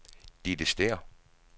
Ditte Stæhr